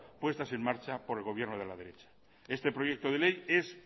puestas en marcha por el gobierno de la derecha este proyecto de ley es